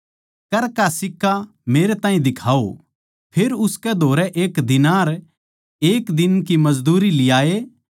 कर का सिक्का मेरै ताहीं दिखाओ फेर उसकै धोरै एक दीनार एक दिन की मजदूरी लियाये